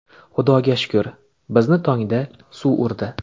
Xudoga shukr, bizni tongda suv urdi.